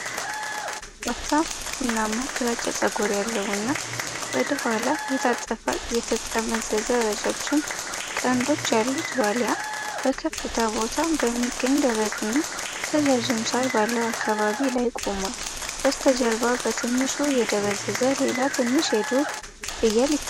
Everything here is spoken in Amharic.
ወፍራም ቡናማ-ግራጫ ፀጉር ያለውና ወደ ኋላ የታጠፉና የተጠመዘዙ ረጃጅም ቀንዶች ያሉት ዋልያ በከፍታ ቦታ በሚገኝ ደረቅና ረዣዥም ሳር ባለው አካባቢ ላይ ቆሟል። በስተጀርባ በትንሹ የደበዘዘ ሌላ ትንሽ የዱር ፍየል ይታያል።